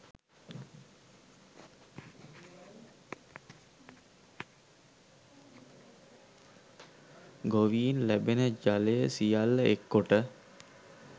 ගොවීන් ලැබෙන ජලය සියල්ල එක් කොට